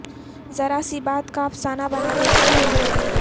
ذرا سی بات کا افسانہ بنا دیتے ہیں لوگ